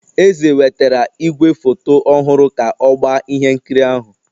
Eze wetara igwefoto ọhụrụ ka ọ gbaa ihe nkiri ahụ